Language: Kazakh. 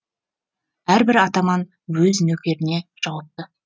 әрбір атаман өз нөкеріне жауапты